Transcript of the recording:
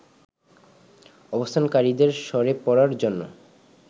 অবস্থানকারীদের সরে পড়ার জন্য